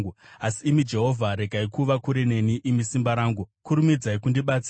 Asi imi, Jehovha, regai kuva kure neni; imi simba rangu, kurumidzai kundibatsira.